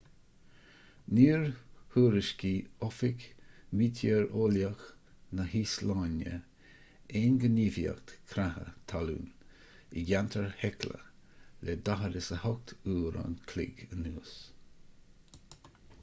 níor thuairiscigh oifig meitéareolaíoch na híoslainne aon ghníomhaíocht creatha talún i gceantar hekla le 48 uair an chloig anuas